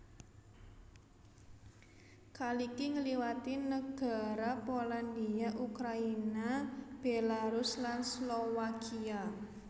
Kaliki ngliwati negara Polandia Ukraina Belarus lan Slowakia